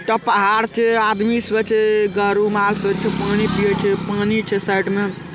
एकटा पहाड़ छै आदमी सब छै पानी पिए छै पानी छै साइड में।